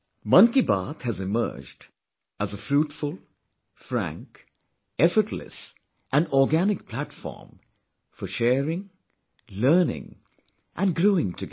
Mann Ki Baat has emerged as a fruitful, frank, effortless & organic platform for sharing, learning and growing together